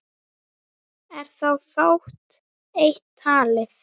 Er þá fátt eitt talið.